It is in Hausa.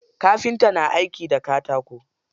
Kafinta na aiki da katako.